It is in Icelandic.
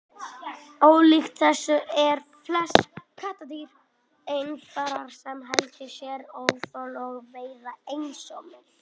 ólíkt þessu eru flest kattardýr einfarar sem helga sér óðöl og veiða einsömul